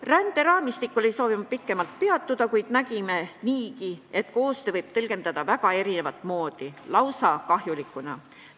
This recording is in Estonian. Ränderaamistikul ei soovi ma pikemalt peatuda, kuid me nägime niigi, et koostööd võib tõlgendada väga mitut moodi, lausa kahjulikuna.